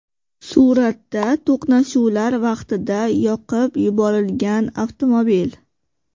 Suratda to‘qnashuvlar vaqtida yoqib yuborilgan avtomobil.